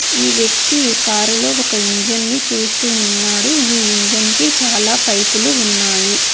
ఈ వ్యక్తి ఈ కారులో ఒక ఇంజన్ ని చూస్తూ ఉన్నాడు ఈ ఇంజన్ కి చాలా పైపులు ఉన్నాయి.